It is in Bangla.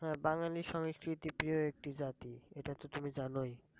হ্যাঁ বাঙালি সংস্কৃতি প্রিয় একটি জাতি এটা তো তুমি জানোই।